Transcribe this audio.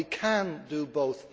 We can do both.